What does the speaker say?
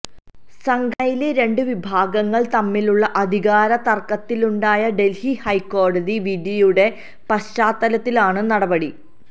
സംഘടനയിലെ രണ്ട് വിഭാഗങ്ങള് തമ്മിലുള്ള അധികാരത്തര്ക്കത്തിലുണ്ടായ ദല്ഹി ഹൈക്കോടതി വിധിയുടെ പശ്ചാത്തലത്തിലാണ് നടപടി